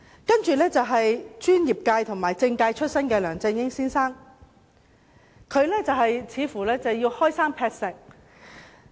第三屆特首是專業界和政界出身的梁振英先生，他似乎要開山劈石。